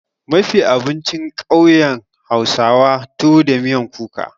Mafi abincin ƙauyen hausawa tuwo da miyan kuka.